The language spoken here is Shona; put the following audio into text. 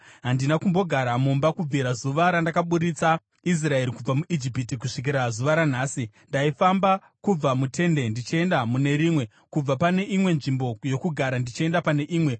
Handina kumbogara mumba kubvira zuva randakaburitsa Israeri kubva muIjipiti kusvikira zuva ranhasi. Ndaifamba kubva mutende ndichienda mune rimwe, kubva pane imwe nzvimbo yokugara ndichienda pane imwe.